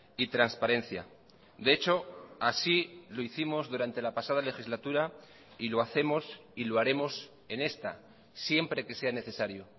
y transparencia de hecho así lo hicimos durante la pasada legislatura y lo hacemos y lo haremos en esta siempre que sea necesario